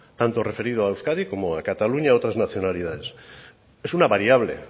tanto referido a euskadi como a cataluña a otras nacionalidades es una variable